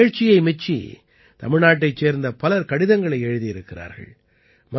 இந்த நிகழ்ச்சியை மெச்சி தமிழ்நாட்டைச் சேர்ந்த பலர் கடிதங்களை எழுதியிருக்கிறார்கள்